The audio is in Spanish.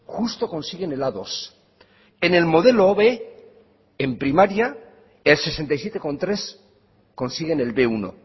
justo consiguen el a dos en el modelo b en primaria el sesenta y siete coma tres consiguen el be uno